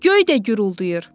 Göy də guruldayır.